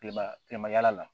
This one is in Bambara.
Kilema kilema yaala la